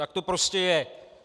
Tak to prostě je!